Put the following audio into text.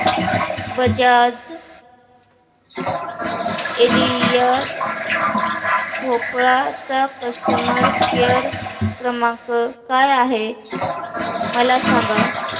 Bajaj Allianz Bhopal चा customer care क्रमांक काय आहे मला सांगा